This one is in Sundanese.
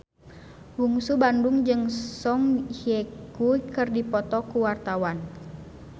Bungsu Bandung jeung Song Hye Kyo keur dipoto ku wartawan